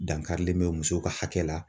Dankarilen bɛ musow ka hakɛ la.